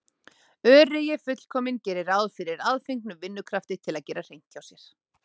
Öreigi fullkominn gerir ráð fyrir aðfengnum vinnukrafti til að gera hreint hjá sér!